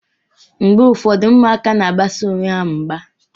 Mgbe ụfọdụ, ụmụaka na-agbasi onwe ha mgba.